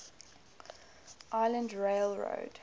island rail road